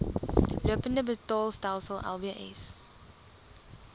lopende betaalstelsel lbs